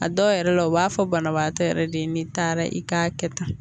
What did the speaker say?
A dɔw yɛrɛ la u b'a fɔ banabagatɔ yɛrɛ de n'i taara i k'a kɛ tan